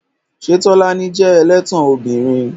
Ṣé Tolani jẹ́ ẹlẹ́tàn ọmọbìnrin?